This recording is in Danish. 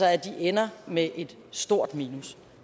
altså ender med et stort minus